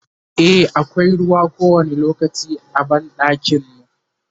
e akwai ruwa kowani lokaci a banɗakin mu